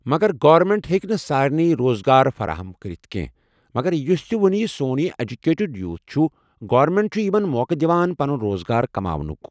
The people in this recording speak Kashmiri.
مگر گورمینٹ ہٮ۪کہِ نہٕ سارنٕے روزگار فراہم کٔرتھ کینٛہہ مگر یُس تہِ وۄنۍ سون یہِ اٮ۪جوکیٹِڈ یوٗتھ چھُ گورمینٹ چھُ یِمن موقع دِوان پنُن روزگار کماونُک